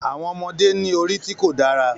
Àwọn ọmọdé ní orí tí kò dára